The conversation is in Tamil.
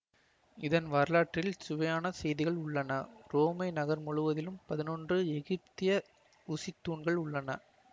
இதன் வரலாற்றில் சுவையான செய்திகள் உள்ளன உரோமை நகர் முழுவதிலும் பதினொன்று எகிப்திய ஊசித்தூண்கள் உள்ளன